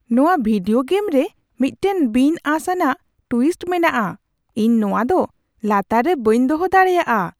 ᱱᱚᱣᱟ video game ᱨᱮ ᱢᱤᱫᱴᱟᱝ ᱵᱤᱱᱼᱟᱸᱥ ᱟᱱᱟᱜ ᱴᱩᱭᱤᱥᱴ ᱢᱮᱱᱟᱜᱼᱟ ᱾ ᱤᱧ ᱱᱚᱣᱟ ᱫᱚ ᱞᱟᱛᱟᱨ ᱨᱮ ᱵᱟᱹᱧ ᱫᱚᱦᱚ ᱫᱟᱲᱮᱭᱟᱜᱼᱟ ᱾